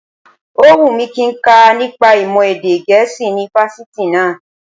Ó wù mí kí nka nípa ìmọ̀ èdè gẹ̀ẹ́sì ní fásitì náá